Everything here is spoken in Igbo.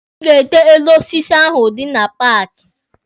Ị ga-ete elu osisi ahụ dị na paaki!